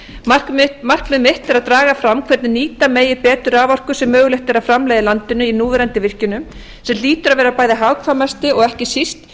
markmið mitt er að draga fram hvernig nýta megi betur raforku sem mögulegt er að framleiða í landinu í núverandi virkjunum sem hlýtur að vera bæði hagkvæmasti og ekki síst